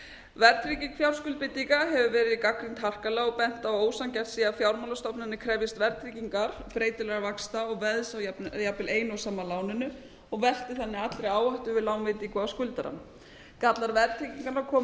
verðtrygging fjárskuldbindinga hefur verið gagnrýnd harkalega og bent á að ósanngjarnt sé að fjármálastofnanir krefjist verðtryggingar breytilegra vaxta og veðs á jafnvel eina og sama láninu og velti þannig allri áhættu við lánveitingu á skuldarann gallar verðtryggingar komu sannarlega